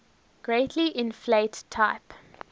greatly inflate type